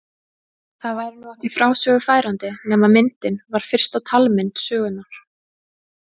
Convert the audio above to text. Það væri nú ekki frásögu færandi nema myndin var fyrsta talmynd sögunnar.